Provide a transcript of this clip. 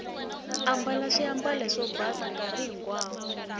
ambala swiambalo swo basa nkarhi hinkwawo